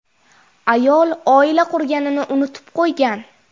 Ayol oila qurganini unutib qo‘ygan.